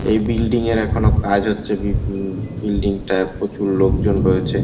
এই বিল্ডিং -এর এখনো কাজ হচ্ছে বিব উম বিল্ডিং -টায় প্রচুর লোকজন রয়েছে।